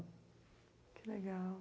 Que legal.